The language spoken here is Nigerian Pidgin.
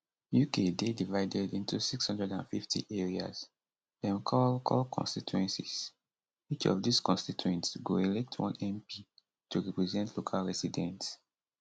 uk dey divided into 650 areas dem call call constituencies each of these constituents go elect one mp to represent local residents